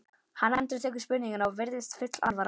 Hann endurtekur spurninguna og virðist full alvara.